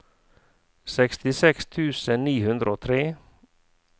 sekstiseks tusen ni hundre og tre